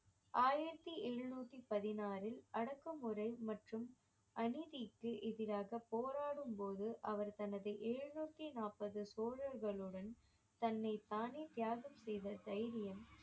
ஆயிரத்தி எழுநூத்தி பதினாறில் அடக்குமுறை மற்றும் அநீதிக்கு எதிராக போராடும் போது அவர் தனது எழுநூத்தி நாற்பது சோழர்களுடன் தன்னைத்தானே தியாகம் செய்த தைரியம்